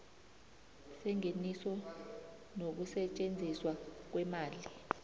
sengeniso nokusetjenziswa kweemali